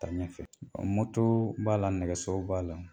Ɲɛfɛ moto b'a la nɛgɛso b'a la